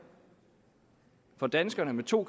for danskerne med to